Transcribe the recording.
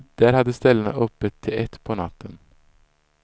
Där hade ställena öppet till ett på natten.